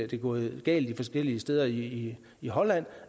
det er gået galt forskellige steder i i holland